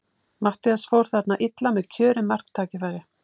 Matthías fór þarna illa með kjörið marktækifæri.